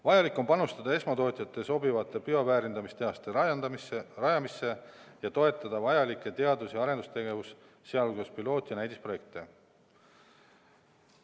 Vajalik on panustada esmatootjate sobivate bioväärindamistehaste rajamisse ja toetada vajalikku teadus- ja arendustegevust, sh piloot- ja näidisprojekte.